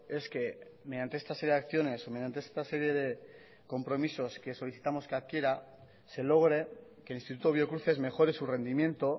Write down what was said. es que mediante esta serie de acciones o mediante esta serie de compromisos que solicitamos que adquiera se logre que el instituto biocruces mejore su rendimiento